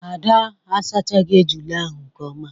Ada asachagi ejula ahụ nke ọma.